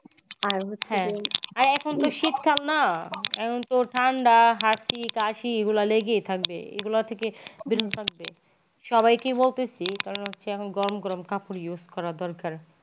এখন তো শীতকাল না এখন তো ঠান্ডা হাছি, কাসি এগুলা লেগেই থাকবে। এগুলা থেকে বেরোতে লাগবে। সবাই কি বলতো যেই কারণে আমার গরম গরম কাপড় use করা দরকার।